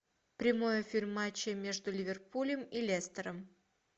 прямой эфир матча между ливерпулем и лестером